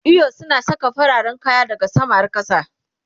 eyo suna Saka fararen kaya daha sama har kasa